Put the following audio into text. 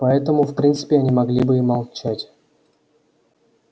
поэтому в принципе они могли бы и молчать